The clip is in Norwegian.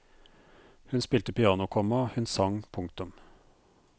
Hun spilte piano, komma hun sang. punktum